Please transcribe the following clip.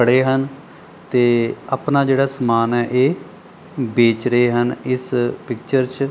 ਪੜੇ ਹਨ ਤੇ ਆਪਣਾ ਜਿਹੜਾ ਸਮਾਨ ਹੈ ਇਹ ਬੇਚ ਰਹੇ ਹਨ ਇਸ ਪਿਕਚਰ 'ਚ।